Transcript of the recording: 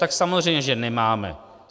Tak samozřejmě že nemáme.